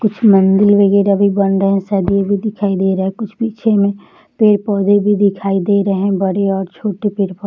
कुछ मंदिर वगैरा भी बन रहे हैं | शायद ये भी दिखाई दे रहे हैं | कुछ पीछे मे पेड़ पौधे भी दिखाई दे रहे है | बड़े और छोटे पेड़ पौधे --